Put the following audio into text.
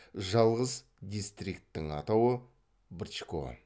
жалғыз дистрикттің атауы брчко